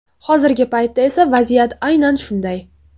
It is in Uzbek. Hozirgi paytda esa vaziyat aynan shunday.